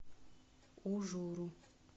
ужуру